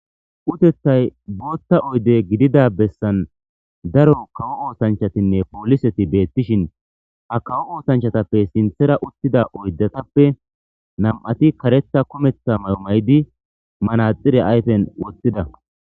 utethay bootta oyde gidida bessan daro kawo oosanchatinne pooliseti beettishin ha kawo oosanchatappe sinthera uttida oydatappe nam7ati karetha kumeththa mamaydi manaxire ayfen woththida